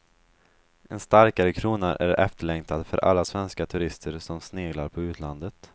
En starkare krona är efterlängtad för alla svenska turister som sneglar på utlandet.